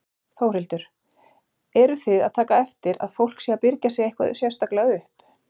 Þórhildur: Eruð þið að taka eftir að fólk sé að byrgja sig eitthvað sérstaklega upp?